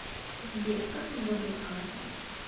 сбер как мне забрать карту